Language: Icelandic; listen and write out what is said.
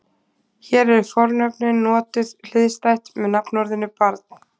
Hér eru fornöfnin notuð hliðstætt með nafnorðinu barn.